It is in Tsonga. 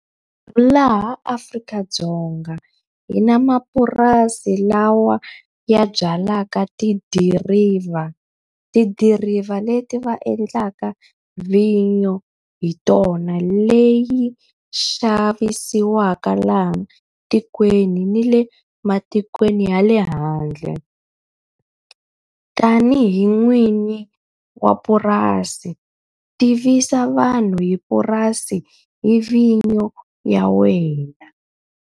Laha Afrika-Dzonga hi na mapurasi lawa ya byalaka tidiriva. Tidiriva leti va endlaka vhinyo hi tona, leyi xavisiwaka laha tikweni ni le matikweni ya le handle. Tanihi n'wini wa purasi tivisa vanhu hi purasi, hi vhinyo ya wena.